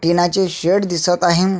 टीना चे शेड दिसत आहे.